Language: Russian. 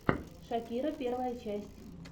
шакира первая часть